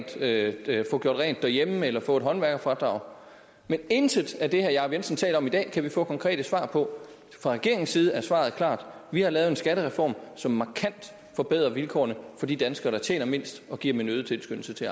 til at få gjort rent derhjemme eller få et håndværkerfradrag men intet af det herre jacob jensen taler om i dag kan vi få konkrete svar på fra regeringens side er svaret klart vi har lavet en skattereform som markant forbedrer vilkårene for de danskere som tjener mindst og giver dem en øget tilskyndelse til